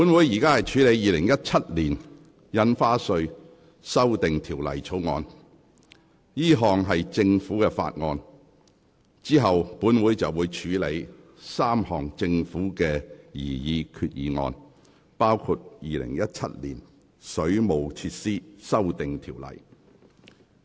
本會現正處理的《2017年印花稅條例草案》屬政府法案，之後便會處理政府提出的3項擬議決議案，包括《2017年水務設施規例》。